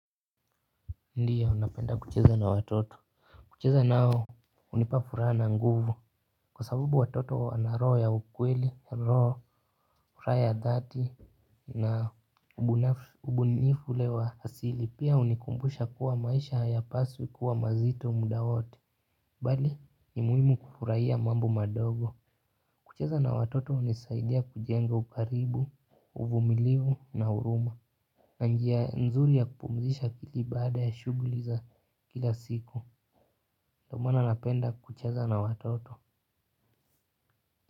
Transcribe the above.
Ndiyo napenda kucheza na watoto. Kucheza nao hunipa furaha na nguvu kwa sababu watoto wana roho ya ukweli, roho, furaha ya dhati na ubunifu ule wa asili. Pia hunikumbusha kuwa maisha hayapaswi kuwa mazito muda wote bali ni muhimu kufurahia mambo madogo. Kucheza na watoto hunisaidia kujenga ukaribu, uvumilivu na huruma na njia nzuri ya kupumzisha akili baada ya shughuli za kila siku. Ndio maana napenda kucheza na watoto.